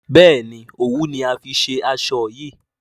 béèni òwú ni a fí ṣe aṣọ yí.